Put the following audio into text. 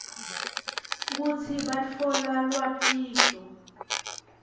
kutsi batfola lwatiso